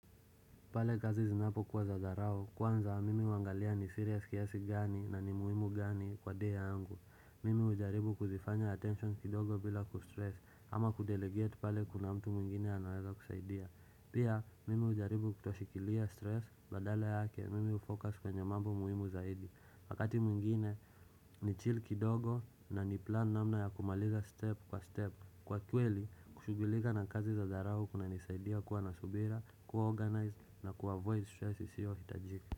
Pale kazi zinapokuwa za dharau, kwanza mimi huangalia ni serious kiasi gani na ni muhimu gani kwa dea angu. Mimi hujaribu kuzifanya attention kidogo bila kustress ama kudelegate pale kuna mtu mwingine anaweza kusaidia. Pia, mimi hujaribu kutoshikilia stress badala yake, mimi ufocus kwenye mambo muhimu zaidi. Wakati mwingine ni chill kidogo na ni plan namna ya kumaliza step kwa step. Kwa kweli, kushughulika na kazi za dharau kunanisaidia kuwa na subira, kuwa organized na kuwa avoid stress isiyo hitajika.